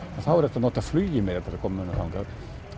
þá er hægt að nota flugið til að koma mönnum þangað